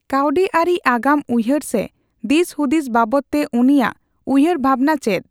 ᱠᱟᱹᱣᱰᱤᱟᱹᱨᱤ ᱟᱜᱟᱢ ᱩᱭᱦᱟᱹᱨ ᱥᱮ ᱫᱤᱥᱦᱩᱫᱤᱥ ᱵᱟᱵᱚᱛᱼᱛᱮ ᱩᱱᱤᱭᱟᱜᱼᱟ ᱩᱭᱦᱟᱹᱨ ᱵᱷᱟᱵᱚᱱᱟ ᱪᱮᱫ ?